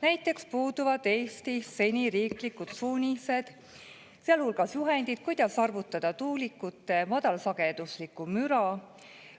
Näiteks puuduvad Eestis seni riiklikud suunised, sealhulgas juhendid, kuidas arvutada tuulikute madalsageduslikku müra.